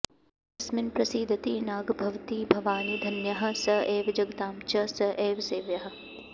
यस्मिन्प्रसीदति नाग्भवती भवानी धन्यः स एव जगतां च स एव सेव्यः